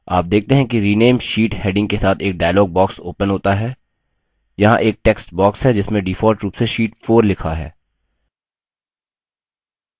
आप देखते हैं कि rename sheet heading के साथ एक dialog box opens होता है यहाँ एक टेक्स्ट box है जिसमें default रूप से sheet 4 लिखा है